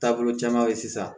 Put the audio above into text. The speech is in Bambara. Taabolo caman ye sisan